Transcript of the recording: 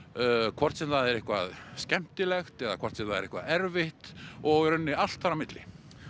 hvort sem það er eitthvað skemmtilegt eða hvort sem það er eitthvað erfitt og í rauninni allt þar á milli